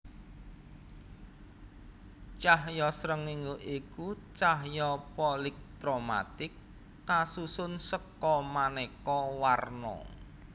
Cahya srengéngé iku cahya polikromatik kasusun seka manéka warna